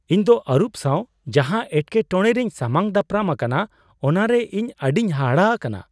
ᱤᱧ ᱫᱚ ᱟᱹᱨᱩᱵ ᱥᱟᱶ ᱡᱟᱦᱟ ᱮᱴᱠᱮᱴᱚᱲᱮ ᱨᱤᱧ ᱥᱟᱢᱟᱝ ᱫᱟᱯᱨᱟᱢ ᱟᱠᱟᱱᱟ ᱚᱱᱟᱨᱮ ᱤᱧ ᱟᱹᱰᱤᱧ ᱦᱟᱦᱟᱲᱟ ᱟᱠᱟᱱᱟ ᱾